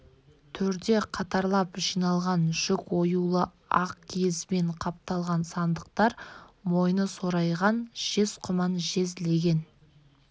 төрде қатарлап жиналған жүк оюлы ақ киізбен қапталған сандықтар мойны сорайған жез құман жез леген